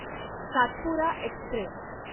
Satpura Express